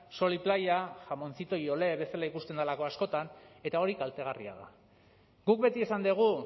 sol y playa jamoncito y olé bezala ikusten delako askotan eta hori kaltegarria da guk beti esan dugu